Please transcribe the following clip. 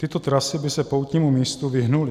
Tyto trasy by se poutnímu místu vyhnuly.